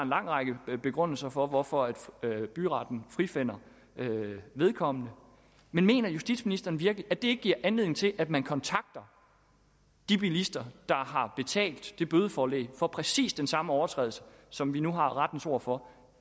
lang række begrundelser for hvorfor byretten frifinder vedkommende men mener justitsministeren virkelig at det ikke giver anledning til at man kontakter de bilister der har betalt det bødeforelæg for præcis den samme overtrædelse som vi nu har rettens ord for